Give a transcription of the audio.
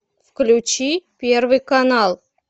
включи первый канал